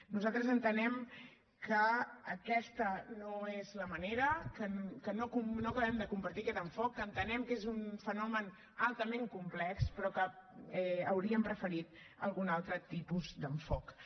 nosaltres entenem que aquesta no és la manera que no acabem de compartir aquest enfocament que entenem que és un fenomen altament complex però que hauríem preferit algun altre tipus d’enfocament